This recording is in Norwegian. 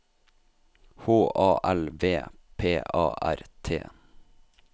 H A L V P A R T